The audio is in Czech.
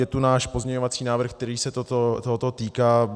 Je tu náš pozměňovací návrh, který se tohoto týká.